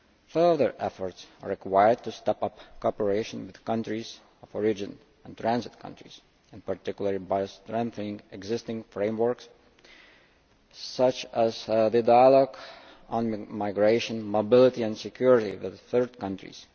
Further efforts are required to step up cooperation with countries of origin and transit countries, in particular by strengthening existing frameworks, such as the dialogue on migration, mobility and security with third countries.